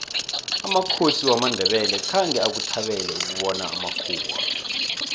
amakhosi wamandebele khange akuthabele ukubona amakhuwa